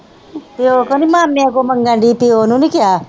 ਪਿਓ ਕੋ ਨਹੀਂ ਮਾਮਿਆਂ ਕੋ ਮੰਗਣ ਦੀਆ ਪਿਓ ਨੂੰ ਨਹੀਂ ਕਹਿਆ।